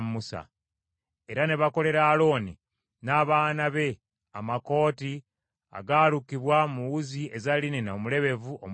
Era ne bakolera Alooni n’abaana be amakooti agaalukibwa mu wuzi eza linena omulebevu omulungi.